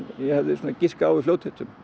ég hefði giskað á í fljótheitum